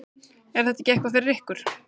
Er þetta ekki eitthvað fyrir ykkur